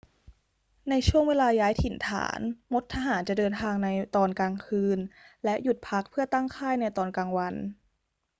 ในช่วงเวลาย้ายถิ่นฐาน มดทหารจะเดินทางในตอนกลางคืนและหยุดพักเพื่อตั้งค่ายในตอนกลางวัน